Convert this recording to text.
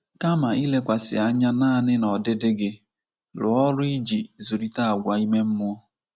Kama ilekwasị anya nanị n’ọdịdị gị, rụọ ọrụ iji zụlite àgwà ime mmụọ.